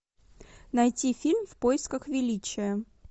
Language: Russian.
найти фильм в поисках величия